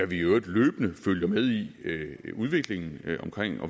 vi i øvrigt løbende følger med i udviklingen